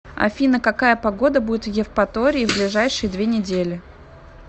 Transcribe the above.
афина какая погода будет в евпатории в ближайшие две недели